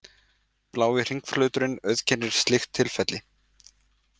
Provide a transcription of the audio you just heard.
Blái hringflöturinn auðkennir slíkt tilfelli.